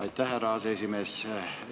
Aitäh, härra aseesimees!